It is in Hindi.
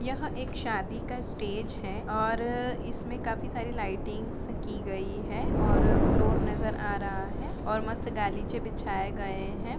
यह एक शादी का स्टेज है और इसमें काफी सारी लाइटिंग की गयी है और फ्लोर नज़र आ रा है और मस्त गलिचे बिछाये गए हैं।